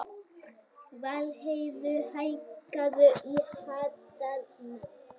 Valdheiður, hækkaðu í hátalaranum.